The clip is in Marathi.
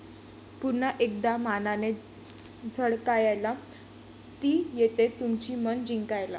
पुन्हा एकदा मानाने झळकायला, ती येतेय तुमची मनं जिंकायला!